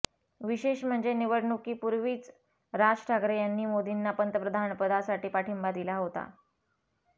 विशेष म्हणजे निवडणुकी पूर्वीच राज ठाकरे यांनी मोदींना पंतप्रधानपदासाठी पाठिंबा दिला होता